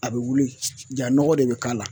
A bɛ wili, jaa nɔgɔ de bɛ k'a la